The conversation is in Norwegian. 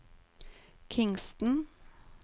Kingston